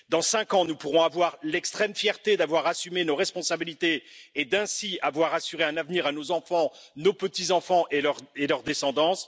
Dans cinq ans, nous pourrons avoir l'extrême fierté d'avoir assumé nos responsabilités et ainsi d'avoir assuré un avenir à nos enfants, à nos petits enfants et à leur descendance.